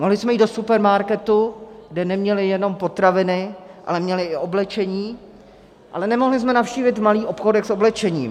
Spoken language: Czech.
Mohli jsme jít do supermarketu, kde neměli jenom potraviny, ale měli i oblečení, ale nemohli jsme navštívit malý obchůdek s oblečením.